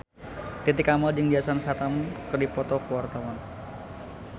Titi Kamal jeung Jason Statham keur dipoto ku wartawan